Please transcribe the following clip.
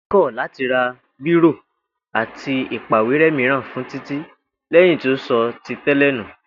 Ìyá Títí kò̩ láti ra bírò àti ìpàwéré̩ mìíràn fún Títí lé̩yìn tí ó so̩ ti té̩lè̩ nù